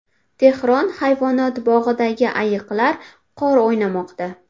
Tehron hayvonot bog‘idagi ayiqlar qor o‘ynamoqda .